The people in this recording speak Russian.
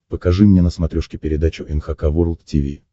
покажи мне на смотрешке передачу эн эйч кей волд ти ви